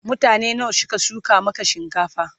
mutane nawa Suka shuka Maka shinkafan?